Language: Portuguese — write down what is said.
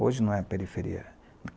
Hoje não é periferia.